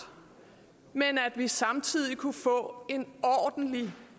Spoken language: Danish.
men at vi samtidig kunne få en ordentlig